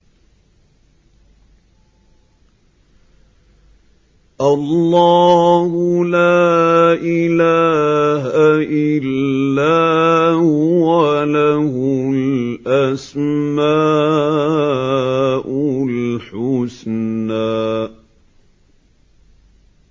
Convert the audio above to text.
اللَّهُ لَا إِلَٰهَ إِلَّا هُوَ ۖ لَهُ الْأَسْمَاءُ الْحُسْنَىٰ